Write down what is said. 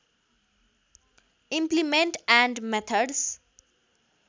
implement and methods